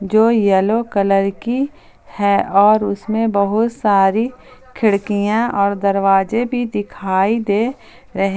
जो yellow colour की है और उसमें बहुत सारी खिड़कियां और दरवाजे भी दिखाई दे रहे--